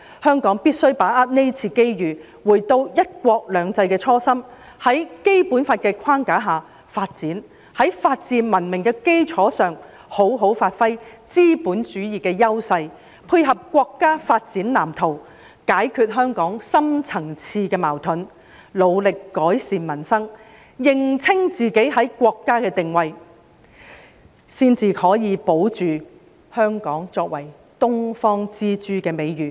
香港必須把握這次機遇，回到"一國兩制"的初心，在《基本法》的框架下發展，在法治文明的基礎上，好好發揮資本主義的優勢，配合國家發展藍圖，解決香港深層次的矛盾，努力改善民生，認清自己在國家的定位，才可以保住香港作為"東方之珠"的美譽。